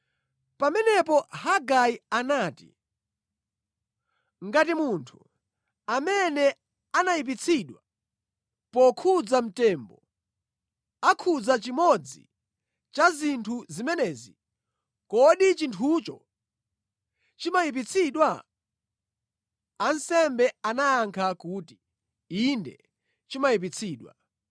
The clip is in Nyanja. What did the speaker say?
Pamenepo Hagai anati, “Ngati munthu amene anayipitsidwa pokhudza mtembo akhudza chimodzi cha zinthu zimenezi, kodi chinthucho chimayipitsidwa?” Ansembe anayankha kuti, “Inde, chimayipitsidwa.”